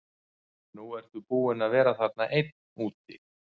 Nú ertu búinn að vera þarna einn úti.